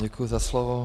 Děkuji za slovo.